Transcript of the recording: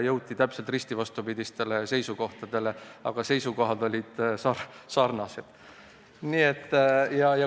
Jõuti risti vastupidistele seisukohtadele, kuigi argumendid olid sarnased.